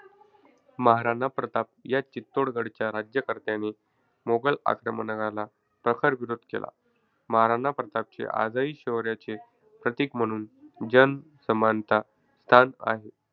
महाराणा प्रताप या चित्तोडगडच्या राज्यकर्त्याने मोगल आक्रमणाला प्रखर विरोध केला. महाराणा प्रतापचे आजही शौर्याचे प्रतीक म्हणून जनसमानता स्थान आहे.